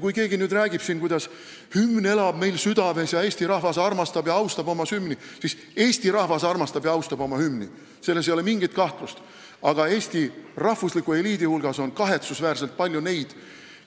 Kui keegi nüüd räägib, kuidas hümn elab meil südames ning eesti rahvas armastab ja austab oma hümni, siis ma ütlen, et eesti rahvas armastab ja austab oma hümni – selles ei ole mingit kahtlust –, aga Eesti rahvusliku eliidi hulgas on kahetsusväärselt palju neid,